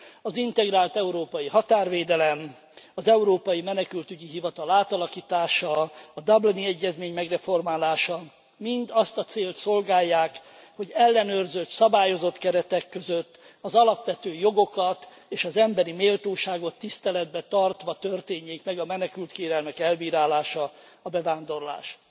Az integrált európai határvédelem, az Európai Menekültügyi Hivatal átalakítása, a dublini egyezmény megreformálása mind azt a célt szolgálják, hogy ellenőrzött, szabályozott keretek között, az alapvető jogokat és az emberi méltóságot tiszteletben tartva történjék meg a menekültkérelmek elbírálása, a bevándorlás.